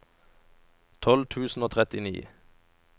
tolv tusen og trettini